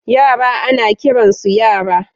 Yara ana kiransu yara.